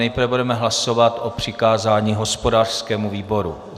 Nejprve budeme hlasovat o přikázání hospodářskému výboru.